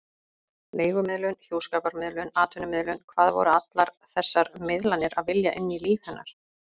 Leigumiðlun, hjúskaparmiðlun, atvinnumiðlun: hvað voru allar þessar miðlanir að vilja inn í líf hennar?